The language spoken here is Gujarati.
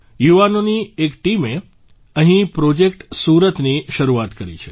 યુવાઓની એક ટીમે અહીં પ્રોજેક્ટ સુરત ની શરુઆત કરી છે